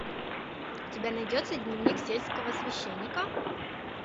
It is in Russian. у тебя найдется дневник сельского священника